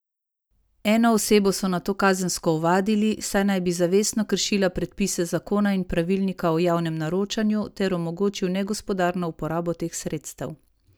Eno osebo so nato kazensko ovadili, saj naj bi zavestno kršila predpise zakona in pravilnika o javnem naročanju ter omogočil negospodarno uporabo teh sredstev.